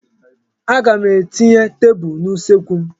Aga m etinye tebụl n'usekwu m.